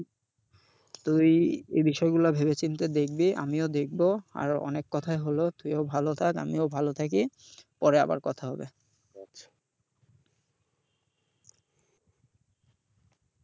তুই এই বিষয়গুলা ভেবে চিন্তে দেখবি, আমিও দেখবো। আর অনেক কথাই হল, তুইও ভালো থাক আমিও ভালো থাকি। পরে আবার কথা হবে।